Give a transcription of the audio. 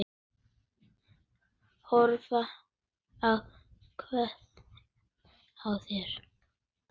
Horfa ákveðin á þær.